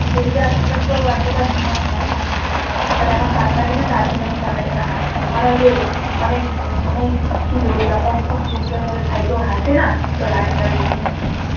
এদিকে আসার তো এতটা হিম্মত নাই আসেনা but এখন পাত্তা দি না তো আজকে যেমন তারকাটাটা হাসছিল মানে ওই যে অনেক মানে অনেক দুঃখী লোক যখন খুব দুঃখের মধ্যে থাইকেও হাসে না ওই হাসিটা দিচ্ছিল